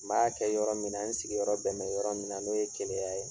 N m'a kɛ yɔrɔ min na, n sigiyɔrɔ bɛn bɛ yɔrɔ min na, n'o ye Keleya ye